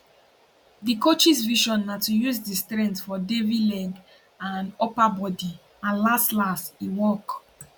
di coaches vision na to use di strength for devi leg and upper bodi and laslas e work